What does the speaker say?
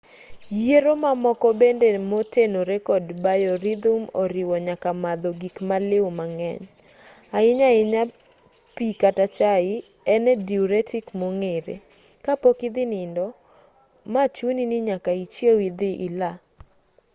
yiero mamoko bende motenore kod biorhythm oriwo nyaka madho gikmaliw mang'eny ahinya ahinya pi kata chai en e diuretic mong'ere ka pok idhi nindo ma chuni ni nyaka ichiew idhi ila